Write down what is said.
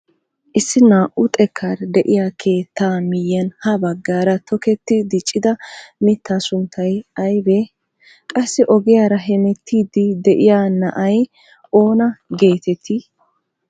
Issi naa"u xekkaara de'iyaa keettaa miyiyaan ha baggaara toketti diccida mittaa sunttay aybee? Qassi ogiyaara hemettiidi de'iyaa na'ay oona getettii?